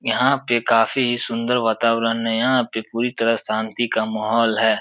यहाँ पे काफी सुन्दर वातारण है। यहाँ पे पूरी तरह शान्ति का माहौल है।